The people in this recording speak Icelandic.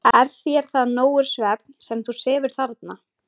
Er þér það nógur svefn, sem þú sefur þarna?